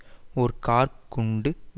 மூன்று பேர் கொல்ல பட்டனர்